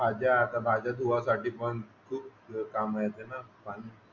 भाज्या आता भाज्या धुवासाठी पण खूप काम येते ना पाणी